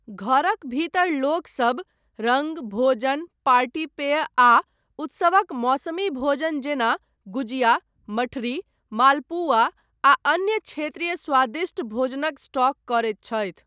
घरक भीतर लोकसभ रङ्ग, भोजन, पार्टी पेय आ उत्सवक मौसमी भोजन जेना गुजिया, मठरी, मालपुआ आ अन्य क्षेत्रीय स्वादिष्ट भोजनक स्टॉक करैत छथि।